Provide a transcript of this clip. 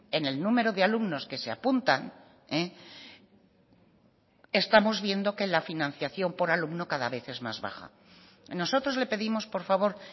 en el número de alumnos que se apuntan estamos viendo que la financiación por alumno cada vez es más baja nosotros le pedimos por favor